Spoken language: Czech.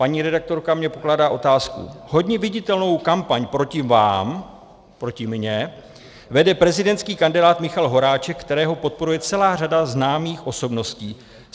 Paní redaktorka mi pokládá otázku: Hodně viditelnou kampaň proti vám - proti mně - vede prezidentský kandidát Michal Horáček, kterého podporuje celá řada známých osobností.